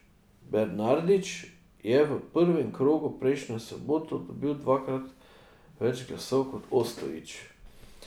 Bernardić je v prvem krogu prejšnjo soboto dobil dvakrat več glasov kot Ostojić.